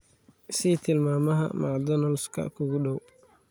i sii tilmaamaha mcdonald's-ka kuugu dhow